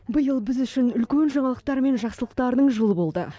биыл біз үшін үлкен жаңалықтар мен жақсылықтардың жылы болды